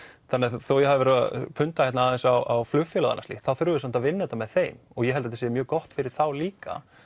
þó ég hafi verið að punda hér aðeins á flugfélagið og annað slíkt þá þurfum við samt að vinna þetta með þeim og ég held þetta sé mjög gott fyrir þá líka